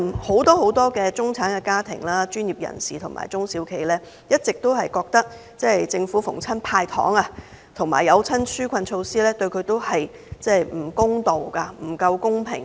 很多中產家庭、專業人士及中小企都覺得政府每逢"派糖"及推出紓困措施，均對他們都不公道、不公平。